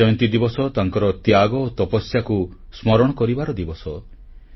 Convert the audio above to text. ଭଗବାନ ମହାବୀରଙ୍କ ଜୟନ୍ତୀ ଦିବସ ତାଙ୍କର ତ୍ୟାଗ ଓ ତପସ୍ୟାକୁ ସ୍ମରଣ କରିବାର ଦିବସ